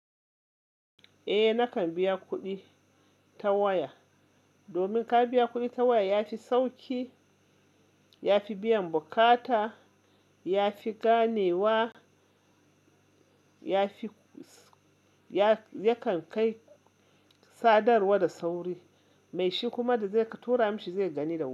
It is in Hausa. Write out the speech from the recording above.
Eh, nakan biya kuɗi ta waya. Domin ka biya kuɗi ta waya yafi sauƙi, yafi biyan bukata, yafi ganewa, yafi yakan kai sadarwa da sauri. Mai shi kuma da zai ka tura mashi zai gani da wuri.